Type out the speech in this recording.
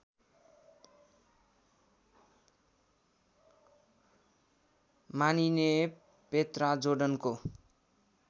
मानिने पेत्रा जोर्डनको